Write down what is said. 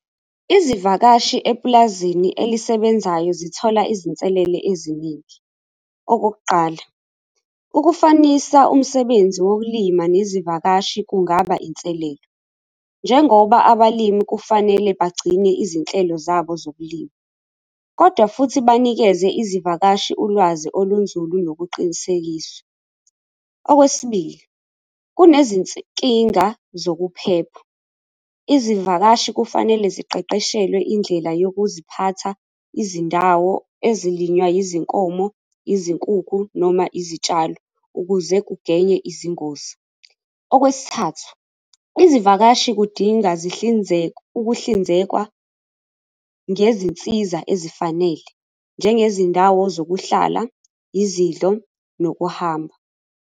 Izivakashi epulazini elisebenzayo zithola izinselele eziningi, okokuqala, ukufanisa umsebenzi wokulima nezivakashi kungaba inselelo, njengoba abalimi kufanele bagcine izinhlelo zabo zokulima kodwa futhi banikeze izivakashi ulwazi olunzulu nokuqinisekisa. Okwesibili, kunezinkinga zokuphepha. Izivakashi kufanele ziqeqeshelwe indlela yokuziphatha izindawo ezilinywa izinkomo, izinkukhu noma izitshalo ukuze kugwenywe izingozi. Okwesithathu izivakashi kudinga ukuhlinzekwa ngezinsiza ezifanele, njengezindawo zokuhlala, izidlo nokuhamba.